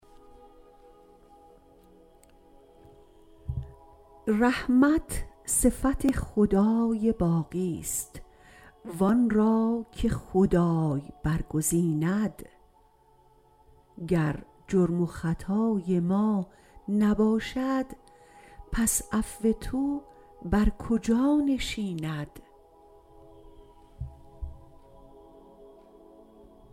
رحمت صفت خدای باقیست و آن را که خدای برگزیند گر جرم و خطای ما نباشد پس عفو تو بر کجا نشیند